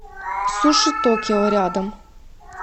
суши токио рядом